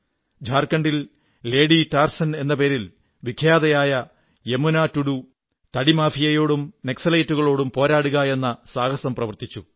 ഝാർഖണ്ഡിൽ lady Tarzan എന്ന പേരിൽ വിഖ്യാതയായ യമുനാ ടുഡൂ തടി മാഫിയയോടും നക്സലുകളോടും പോരാടുകയെന്ന സാഹസം പ്രവർത്തിച്ചു